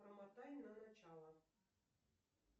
промотай на начало